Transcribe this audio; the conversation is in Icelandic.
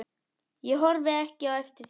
Ég horfi ekki eftir þér.